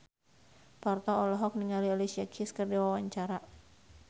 Parto olohok ningali Alicia Keys keur diwawancara